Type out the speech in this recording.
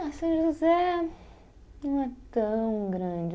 Ah, São José não é tão grande.